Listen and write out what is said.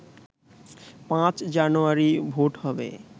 ৫ জানুয়ারি ভোট হবে